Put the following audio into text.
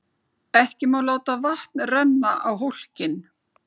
Ekki má láta vatn renna á hólkinn.